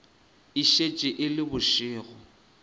e šetše e le bošego